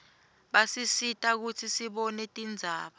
basisita kutsi sibone tindzaba